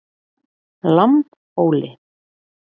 Lambhóli